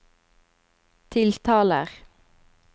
tiltaler